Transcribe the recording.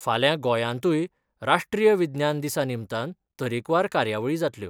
फाल्यां गोंयांतूय राष्ट्रीय विज्ञान दिसा निमतान तरेकवार कार्यावळी जातल्यो.